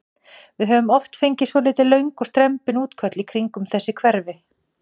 Við höfum oft fengið svolítið löng og strembin útköll í kringum þessi hverfi?